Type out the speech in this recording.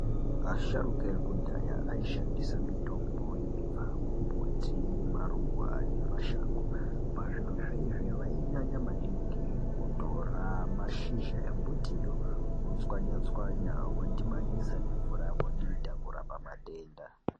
Asharuka ekudhaya aishandisa mitombo yaibva kumbuti maruwa nemashango pazvirozvo vainyanya maningi kutora mazhizha embutiyo vochwanya chwanya vodhibanisa nemvura vodita kurapa matenda.